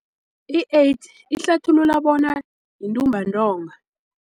I-AIDS ihlathulula bona yintumbantonga.